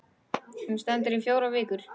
Hún stendur í fjórar vikur.